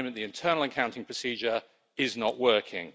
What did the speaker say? at the moment, the internal accounting procedure is not working.